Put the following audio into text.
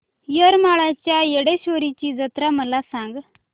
येरमाळ्याच्या येडेश्वरीची जत्रा मला सांग